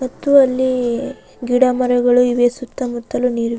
ಮತ್ತು ಅಲ್ಲಿ ಗಿಡ ಮರಗಳು ಇವೆ ಸುತ್ತ ಮುತ್ತಲು ನೀರು --